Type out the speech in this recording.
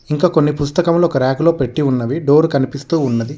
ఇంకా కొన్ని పుస్తకములు ఒక ర్యాక్ లో పెట్టి ఉన్నవి డోరు కనిపిస్తు ఉన్నది.